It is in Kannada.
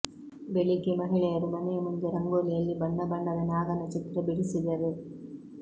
ಬೆಳಿಗ್ಗೆ ಮಹಿಳೆಯರು ಮನೆಯ ಮುಂದೆ ರಂಗೋಲಿಯಲ್ಲಿ ಬಣ್ಣ ಬಣ್ಣದ ನಾಗನ ಚಿತ್ರ ಬಿಡಿಸಿದರು